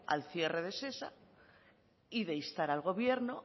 al cierre de shesa y de instar al gobierno